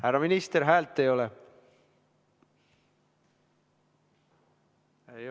Härra minister, häält ei ole!